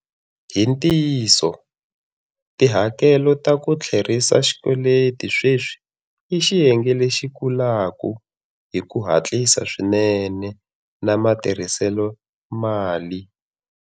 Hi ntiyiso, tihakelo ta ku tlherisa xikweleti sweswi i xiyenge lexi kulaka hi ku hatlisa swinene na matirhiselo mali.